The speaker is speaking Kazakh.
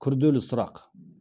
күрделі сұрақ